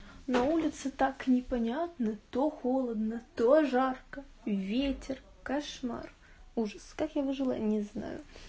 на улице так непонятно то холодно то жарко ветер кошмар ужас как я выжила не знаю